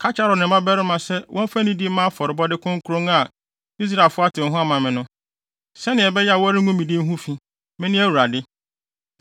“Ka kyerɛ Aaron ne ne mmabarima se wɔmfa nidi mma afɔrebɔde kronkron a Israelfo atew ho ama me no, sɛnea ɛbɛyɛ a wɔrengu me din ho fi. Mene Awurade.